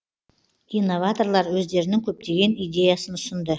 инноваторлар өздерінің көптеген идеясын ұсынды